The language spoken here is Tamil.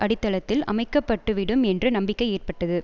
அடித்தளத்தில் அமைக்கப்பட்டுவிடும் என்று நம்பிக்கை ஏற்பட்டது